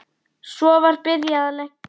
Svo var byrjað að leggja.